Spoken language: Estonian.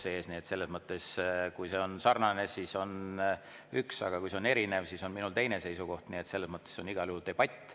Kui see on sarnane, siis on üks, aga kui see on erinev, siis on minul teine seisukoht, nii et selles mõttes on igal juhul debatt.